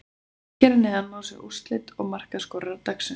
Hér að neðan má sjá úrslit og markaskorara dagsins: